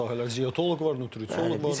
Başqa sahələr, ziaoloq var, nutriciooloq var.